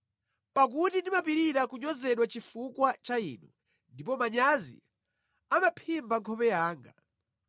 Pakuti ndimapirira kunyozedwa chifukwa cha Inu, ndipo manyazi amaphimba nkhope yanga.